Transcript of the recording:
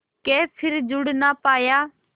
के फिर जुड़ ना पाया